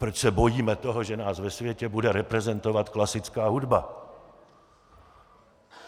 Proč se bojíme toho, že nás ve světě bude reprezentovat klasická hudba?